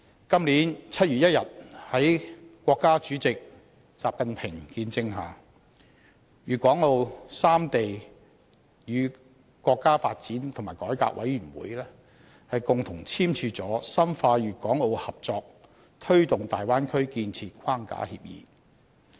今年7月1日在國家主席習近平的見證下，粵港澳三地與國家發展和改革委員會共同簽署了《深化粵港澳合作推進大灣區建設框架協議》。